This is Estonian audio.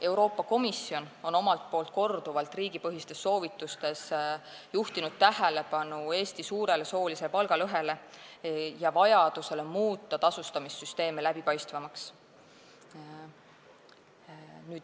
Euroopa Komisjon on omalt poolt riigipõhistes soovitustes juhtinud korduvalt tähelepanu Eesti suurele soolisele palgalõhele ja vajadusele muuta tasustamissüsteeme läbipaistvamaks.